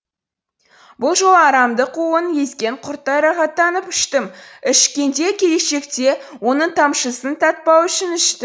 бұл жолы арамдық уын езген құрттай рахаттанып іштім ішкенде келешекте оның тамшысын татпау үшін іштім